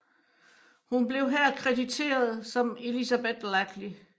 Hun blev her krediteret som Elizabeth Lackey